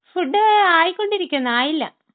Food ആയിക്കൊണ്ടിരിക്കുന്ന്, ആയില്ല.